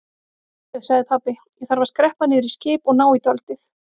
Heyrðu sagði pabbi, ég þarf að skreppa niður í skip og ná í dálítið.